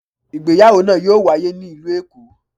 ìgbéyàwò naa yoo waye ni ilu Eko.